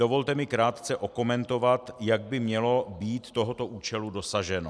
Dovolte mi krátce okomentovat, jak by mělo být tohoto účelu dosaženo.